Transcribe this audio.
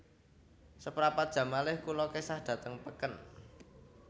Seprapat jam malih kula kesah dhateng peken